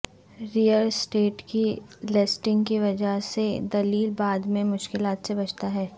rail estate کی listing کی وجہ سے دلیل بعد میں مشکلات سے بچتا ہے